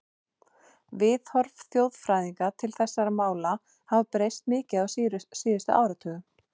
Viðhorf þjóðfræðinga til þessara mála hafa breyst mikið á síðustu áratugum.